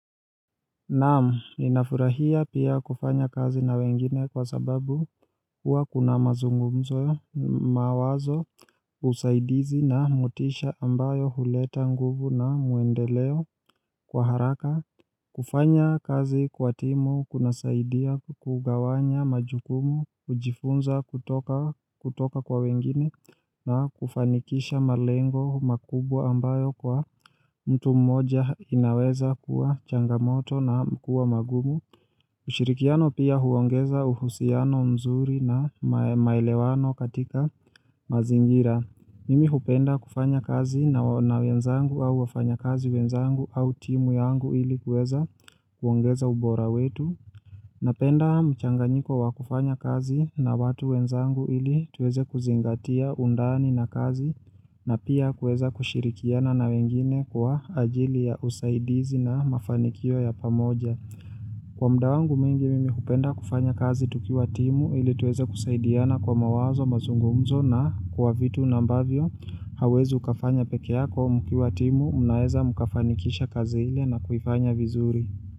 Naam, ninafurahia pia kufanya kazi na wengine kwa sababu huwa kuna mazungumzo mawazo usaidizi na motisha ambayo huleta nguvu na muendeleo kwa haraka kufanya kazi kwa timu kuna saidia kugawanya majukumu, kujifunza kutoka kwa wengine na kufanikisha malengo makubwa ambayo kwa mtu mmoja inaweza kuwa changamoto na kuwa magumu. Ushirikiano pia huongeza uhusiano mzuri na maelewano katika mazingira. Mimi hupenda kufanya kazi na wenzangu au wafanya kazi wenzangu au timu yangu ili kueza kuongeza ubora wetu. Napenda mchanganyiko wakufanya kazi na watu wenzangu ili tuweze kuzingatia undani na kazi na pia kueza kushirikiana na wengine kwa ajili ya usaidizi na mafanikio ya pamoja. Kwa muda wangu mingi mimi hupenda kufanya kazi tukiwa timu ili tuweza kusaidiana kwa mawazo mazungumzo na kwa vitu ambavyo hauwezi ukafanya pekee mkiwa timu mnaeza mkafanikisha kazi ili na kuifanya vizuri.